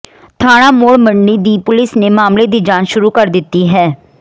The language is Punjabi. ਥਾਣਾ ਮੌੜ ਮੰਡੀ ਦੀ ਪੁਲਸ ਨੇ ਮਾਮਲੇ ਦੀ ਜਾਂਚ ਸ਼ੁਰੂ ਕਰ ਦਿੱਤੀ ਹੈ